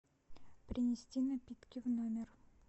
принести напитки в номер